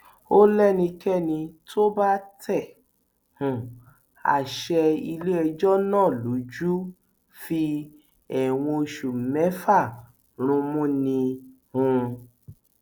ó léńìkéni tó bá tẹ um àṣẹ iléẹjọ náà lójú ń fi ẹwọn oṣù mẹfà rúnmú ni um